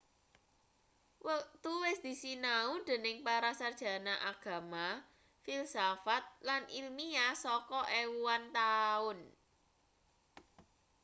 wektu wis disinau dening para sarjana agama filsafat lan ilmiah saka ewunan taun